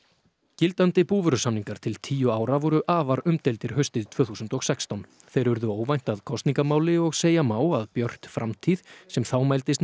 gildandi búvörusamningar til tíu ára voru afar umdeildir haustið tvö þúsund og sextán þeir urðu óvænt að kosningamáli og segja má að Björt framtíð sem þá mældist